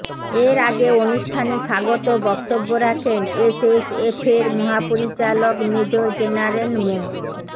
এর আগে অনুষ্ঠানে স্বাগত বক্তব্য রাখেন এসএসএফ এর মহাপরিচালক মেজর জেনারেল মো